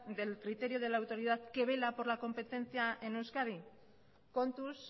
del criterio de la autoridad que vela por la competencia en euskadi kontuz